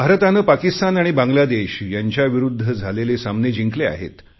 भारताने पाकिस्तान आणि बांग्लादेश यांच्याविरुध्द झालेले सामने जिंकले आहेत